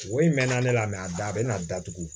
O in mɛ na ne la a da a bɛna datugu